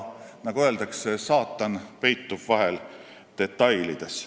Nagu öeldakse, saatan peitub vahel detailides.